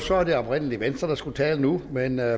var det oprindelig venstre der skulle tale nu men jeg